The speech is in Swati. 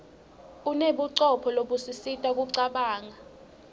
unebucopho lobusisita kucabanga